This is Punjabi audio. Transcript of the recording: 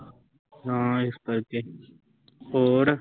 ਹਾਂ ਇਸ ਕਰਕੇ, ਹੋਰ